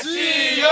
Rusiya!